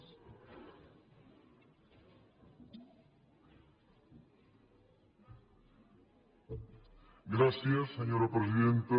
gràcies senyora presidenta